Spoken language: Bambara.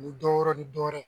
Ani dɔwɛrɛ ni dɔwɛrɛ.